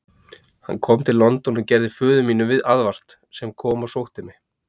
Hann kom til London og gerði föður mínum aðvart, sem kom og sótti mig.